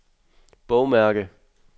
bogmærke